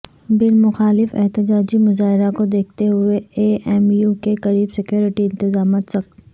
بل مخالف احتجاجی مظاہرہ کو دیکھتے ہوئے اے ایم یو کے قریب سیکورٹی انتظامات سخت